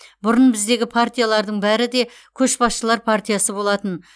бұрын біздегі партиялардың бәрі де көшбасшылар партиясы болатын